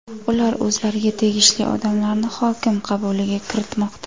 Ular o‘zlariga tegishli odamlarni hokim qabuliga kiritmoqda.